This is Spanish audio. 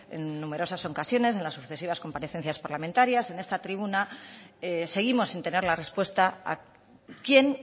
en numerosas ocasiones en las sucesivas comparecencias parlamentarias en esta tribuna seguimos sin tener la respuesta a quién